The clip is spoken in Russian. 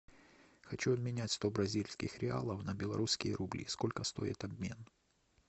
хочу обменять сто бразильских реалов на белорусские рубли сколько стоит обмен